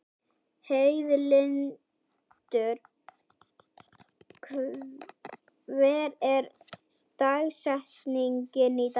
Heiðlindur, hver er dagsetningin í dag?